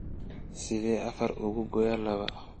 sideen afar uga gooyaa laba